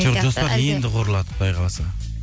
енді құрылады құдай қаласа